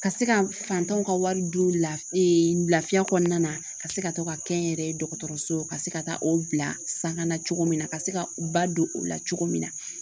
Ka se ka faantanw ka wari don lafiya kɔnɔna na ka se ka to ka kɛ n yɛrɛ ye dɔgɔtɔrɔso ka se ka taa o bila sanga na cogo min na ka se ka u ba don o la cogo min na